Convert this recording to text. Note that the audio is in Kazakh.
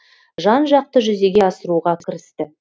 жан жақты жүзеге асыруға кірісті